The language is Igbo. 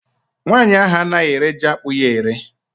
Nwaanyị ahụ anaghị ere jiakpụ ya ere